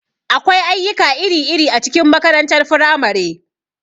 Akwai ayyuka iri-iri a cikin makarantar firamare.